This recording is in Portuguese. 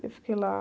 Eu fiquei lá.